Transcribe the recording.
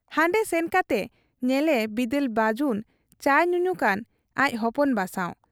ᱦᱟᱱᱰᱮ ᱥᱮᱱ ᱠᱟᱛᱮ ᱧᱮᱞᱮ ᱵᱤᱫᱟᱹᱞ ᱵᱟᱹᱡᱩᱱ ᱪᱟᱭ ᱧᱩᱧᱩᱠᱟᱱ ᱟᱡ ᱦᱚᱯᱚᱱ ᱵᱟ ᱥᱟᱶ ᱾